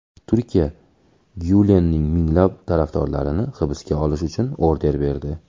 Turkiya Gyulenning minglab tarafdorlarini hibsga olish uchun order berdi.